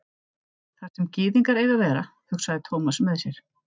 Þar sem gyðingar eiga að vera, hugsaði Thomas með sér.